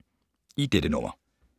I dette nummer